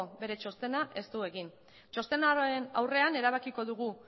txostena ez du egin txosnaren aurrean erabakiko dugu